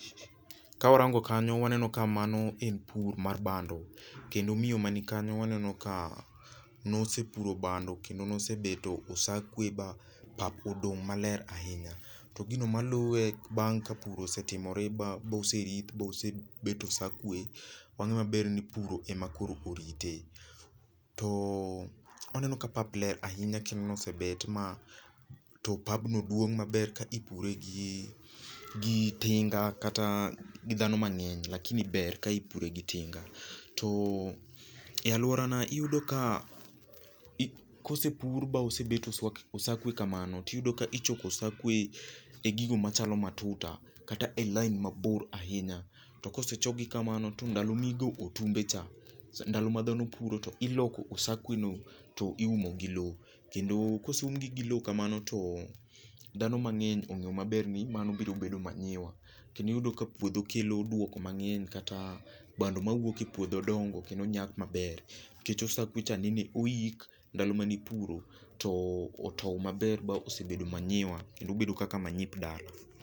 Kawarango kanyo waneno ka mano en pur mar bando. Kendo miyo man kanyo waneno ka ne osepuro bando kendo ne osebeto osakwe ma pap odong' maler ahinya. To gino maluwe bang' ka pur osetimore boserith ba osebet osakwe, wang'eyo maber ni puro ema koro orite. To waneno ka pap ler ahinya chalni osebet ma to pabno duong' ma ber ka ipure gi gi tinga kata gidhano mang'eny lakini ber ka ipure gi tinga. To e aluorana iyudo ka i ka mosepur ma osebet osakwe kamano to iyudo ka ichoko osakwe e gigo machalo matuta kata e lain mabor ahinya to ka osechok gi kamano to ndalo ma igo otunge cha ndalo ma dhano puro to iloko osakweno to iumo gi lowo. Kendo ka oseum gi gi lowo kamano to dhano mang'eny ong'eyo ni mano biro bedo manyiwa kendo iyudo ka puodho kelo duoko mang'eny kata bando mawuok e puodho dongo kendo nyak maber nikech osakwe cha ne oyik ndalo mane ipuro to otow maber mobedo manyiwa kendo bedo kaka manyip dala.